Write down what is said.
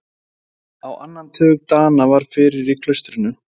Á annan tug Dana var fyrir í klaustrinu.